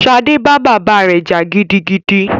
Ṣadé bá bàbá rẹ jà gidigidi